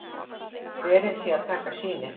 Verið sé að taka sýni